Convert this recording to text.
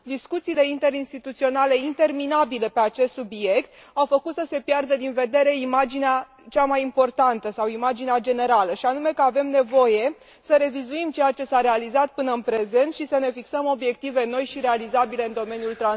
Discuțiile interinstituționale interminabile pe acest subiect au făcut să se piardă din vedere imaginea cea mai importantă sau imaginea generală, și anume că avem nevoie să revizuim ceea ce s a realizat până în prezent și să ne fixăm obiective noi și realizabile în domeniul transporturilor.